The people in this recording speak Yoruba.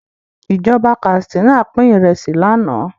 Ìjọba Katsina pin Ìrẹsí lànà